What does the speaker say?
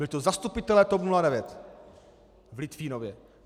Byli to zastupitelé TOP 09 v Litvínově.